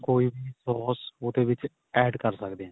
ਕੋਈ ਵੀ ਸੋਸ ਉਹਦੇ ਵਿੱਚ add ਕ਼ਰ ਸਕਦੇ ਆ